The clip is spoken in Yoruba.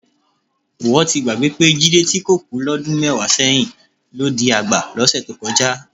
Ìwọ ti gbàgbé pé Jídé tí kò kú lọ́dún mẹ́wàá sẹ́yìn, ló di àgbà lọ́sẹ̀ tó kọjá